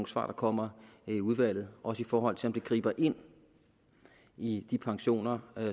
svar der kommer i udvalget også i forhold til om det griber ind i de pensioner